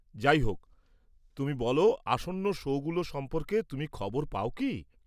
যাইহোক, তুমি বল, আসন্ন শোগুলো সম্পর্কে তুমি খবর পাও কি?